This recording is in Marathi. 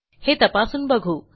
हे तपासून बघू